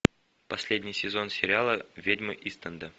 последний сезон сериала ведьмы ист энда